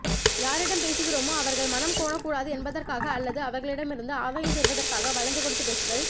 யாரிடம் பேசுகிறோமோ அவர்கள் மனம் கோணக் கூடாது என்பதற்காக அல்லது அவர்களிடமிருந்து ஆதாயம் பெறுவதற்காக வளைந்து கொடுத்துப் பேசுதல்